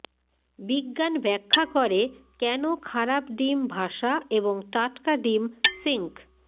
বিজ্ঞান ব্যাখ্যা করে কেন খারাপ ডিম ভাসা এবং টাটকা ডিম সিঙ্ক